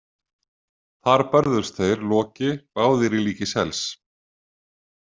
Þar börðust þeir Loki, báðir í líki sels.